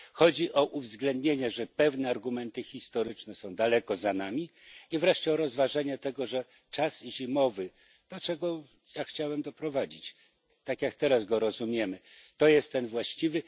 Chodzi o podkreślenie, że pewne argumenty historyczne są daleko za nami, i o rozważenie tego, że czas zimowy do czego ja chciałem doprowadzić tak jak teraz go rozumiemy, to jest ten właściwy.